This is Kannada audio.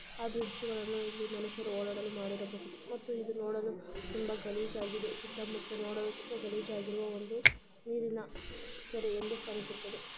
ಇದು ಒಂದು ಬ್ರಿಡ್ಜ್‌ ಅಲ್ಲಿ ಮನುಷ್ಯರು ಓಡಾಡಲು ಮಾಡಿರಬಹುದು ಇದರ ಒಳಗಡೆ ತುಂಬಾ ಗಲೀಜು ಆಗಿದೆ ಸುತ್ತಾ ಮುತ್ತಾ ನೋಡುವ ಒಂದು ಗಲೀಜು ಆಗಿರುವ ನೀರಿನ ಕೆರೆ ಎದ್ದು ಕಾಣಿಸುತ್ತದೆ.